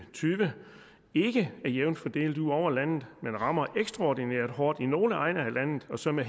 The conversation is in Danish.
og tyve ikke er jævnt fordelt ud over landet men rammer ekstraordinært hårdt i nogle egne af landet og så med